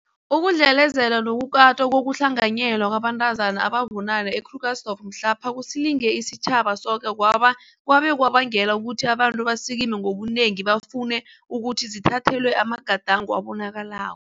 Ukudlelezelwa nokukatwa ngokuhlanganyelwa kwabantazana ababunane e-Krugersdorp mhlapha kusilinge isitjhaba soke kwabe kwabangela ukuthi abantu basikime ngobunengi bafune ukuthi zithathelwe amagadango abonakalako